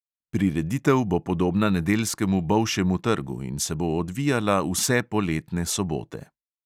Prireditev bo podobna nedeljskemu bolšjemu trgu in se bo odvijala vse poletne sobote.